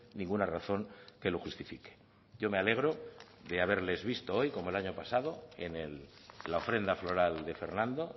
ninguna razón que lo justifique yo me alegro de haberles visto hoy como el año pasado en la ofrenda floral de fernando